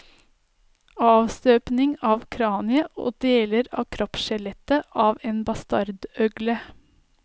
Avstøpning av kraniet og deler av kroppsskjelettet av en bastardøgle.